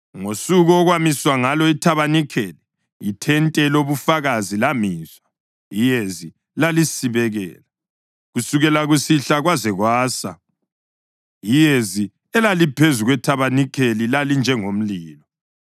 Ngosuku okwamiswa ngalo ithabanikeli, ithente lobuFakazi lamiswa, iyezi lalisibekela. Kusukela kusihlwa kwaze kwasa iyezi elaliphezu kwethabanikeli lalinjengomlilo.